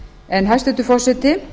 en hæstvirtur forseti